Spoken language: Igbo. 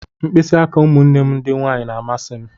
Mkpịsị aka ụmụnne m ndị nwanyị na-amasị m.